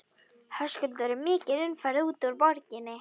Höskuldur er mikil umferð út úr borginni?